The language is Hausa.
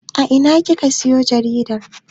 A ina kika siyo jaridar?